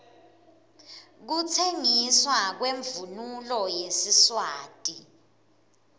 kutsengiswa kwemvunulo yesiswati